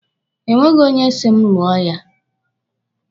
E nweghi onye si m lụọ ya.